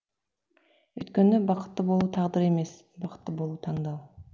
өйткені бақытты болу тағдыр емес бақытты болу таңдау